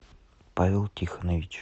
павел тихонович